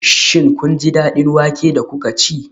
Shin kun ji daɗin wake da kuka ci?